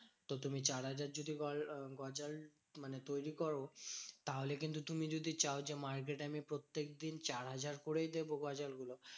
তো তুমি চার হাজার যদি গজাল মানে তৈরী করো। তাহলে কিন্তু তুমি যদি চাও যে, market এ আমি প্রত্যেকদিন চার হাজার করেই দেব গজাল গুলো,